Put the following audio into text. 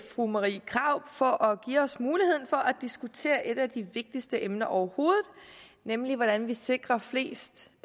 fru marie krarup for at give os muligheden for at diskutere et af de vigtigste emner overhovedet nemlig hvordan vi sikrer flest